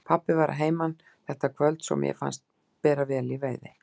Pabbi var að heiman þetta kvöld svo mér fannst bera vel í veiði.